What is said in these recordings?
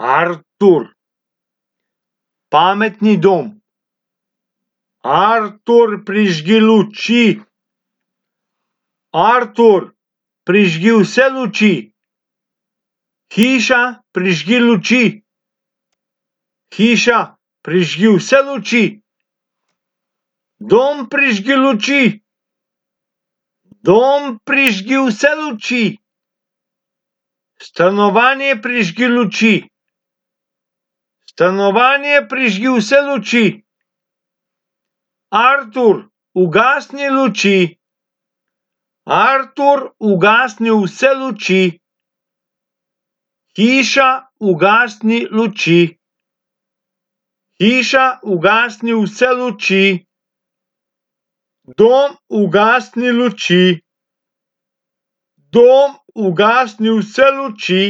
Artur. Pametni dom. Artur, prižgi luči. Artur, prižgi vse luči. Hiša, prižgi luči. Hiša, prižgi vse luči. Dom, prižgi luči. Dom, prižgi vse luči. Stanovanje, prižgi luči. Stanovanje, prižgi vse luči. Artur, ugasni luči. Artur, ugasni vse luči. Hiša, ugasni luči. Hiša, ugasni vse luči. Dom, ugasni luči. Dom, ugasni vse luči.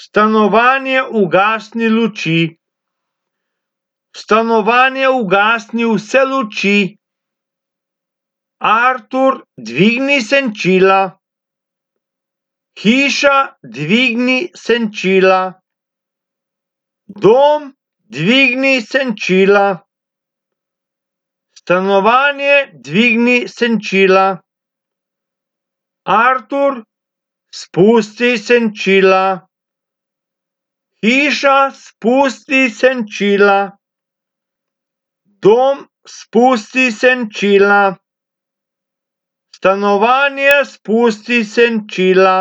Stanovanje, ugasni luči. Stanovanje, ugasni vse luči. Artur, dvigni senčila. Hiša, dvigni senčila. Dom, dvigni senčila. Stanovanje, dvigni senčila. Artur, spusti senčila. Hiša, spusti senčila. Dom, spusti senčila. Stanovanje, spusti senčila.